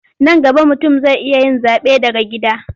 Nan gaba mutum zai iya yin zaɓe daga gida.